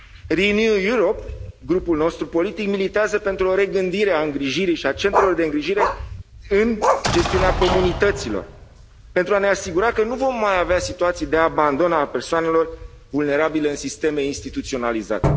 Renew Europe, grupul nostru politic, militează pentru o regândire a îngrijirii și a centrelor de îngrijire în gestiunea comunităților pentru a ne asigura că nu vom mai avea situații de abandon al persoanelor vulnerabile în sisteme instituționalizate.